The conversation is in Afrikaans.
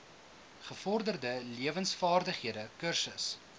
gevorderde lewensvaardighede kursus